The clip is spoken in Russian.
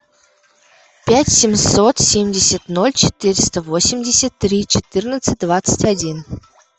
пять семьсот семьдесят ноль четыреста восемьдесят три четырнадцать двадцать один